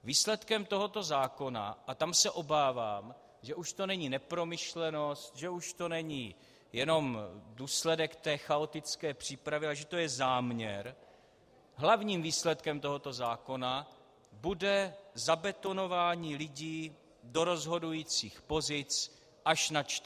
Výsledkem tohoto zákona, a tam se obávám, že už to není nepromyšlenost, že už to není jenom důsledek té chaotické přípravy, ale že to je záměr, hlavním výsledkem tohoto zákona bude zabetonování lidí do rozhodujících pozic až na 14 let.